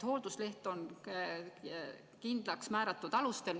Hooldusleht antakse kindlaks määratud alustel.